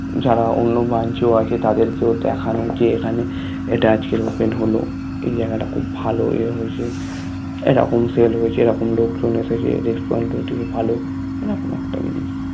যারা অন্য Branch এও আছে তাদেরকে দেখানো যে এখানে এটা আজকে Open হলো এই জায়গাটা খুব ভালো এইভাবে সে এরকম Sale হয়েছে এরকম লোকজন এসেছে অনেকটুকু ভালো